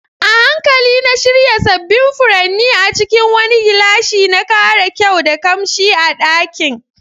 A hankali na shirya sabbin furanni a cikin wani gilashi, na kara kyau da kamshi a dakin.